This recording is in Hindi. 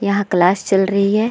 यहाँ क्लास चल रही है।